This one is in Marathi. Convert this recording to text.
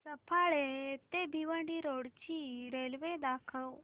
सफाळे ते भिवंडी रोड ची रेल्वे दाखव